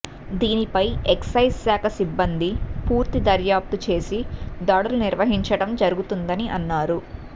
దీనిపై ఎక్సైజ్ శాఖ సిబ్బంది పూర్తి దర్యాప్తు చేసి దాడులు నిర్వహించడం జరుగుతుందని అన్నారు